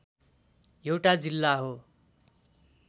एउटा जिल्ला हो।